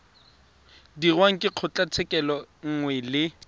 dirwang ke kgotlatshekelo nngwe le